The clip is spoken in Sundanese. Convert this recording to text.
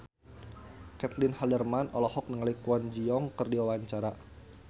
Caitlin Halderman olohok ningali Kwon Ji Yong keur diwawancara